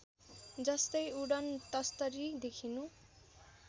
जस्तै उडनतस्तरी देखिनु